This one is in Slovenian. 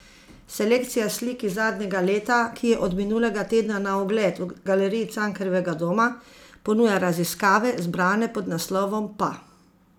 Selekcija slik iz zadnjega leta, ki je od minulega tedna na ogled v Galeriji Cankarjevega doma, ponuja raziskave, zbrane pod naslovom Pa.